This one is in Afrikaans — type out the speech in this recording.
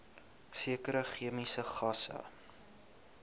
sekere chemiese gasse